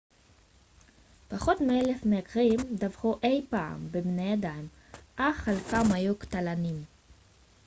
פחות מאלף מקרים דווחו אי פעם בבני אדם אך חלקם היו קטלניים